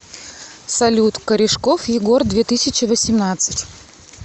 салют корешков егор две тысячи восемнадцать